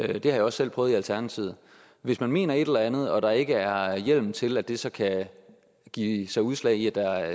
det har jeg også selv prøvet i alternativet hvis man mener et eller andet og der ikke er hjemmel til at det så kan give sig udslag i at der